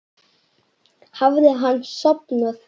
Hafði hann sofnað?